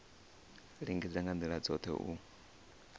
lingedza nga ndila dzothe u